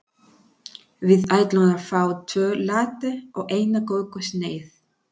Við ætlum að fá tvo latte og eina kökusneið.